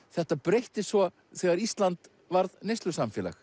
þetta breyttist svo þegar Ísland varð